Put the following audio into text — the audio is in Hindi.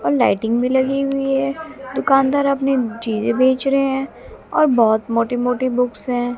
और लाइटिंग भी लगी हुई है दुकानदार अपनी चीजें बेच रहे हैं और बहुत मोटी मोटी बुक्स हैं।